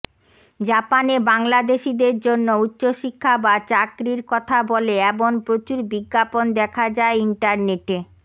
জাপানে বাংলাদেশীদের জন্য উচ্চশিক্ষা বা চাকরির কথা বলে এমন প্রচুর বিজ্ঞাপন দেখা যায় ইন্টারনেটে